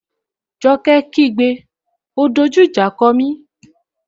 Joke kí gbé,'O dojú ìjà kọ mí!